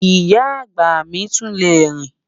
Ìyá agba mi tún le rín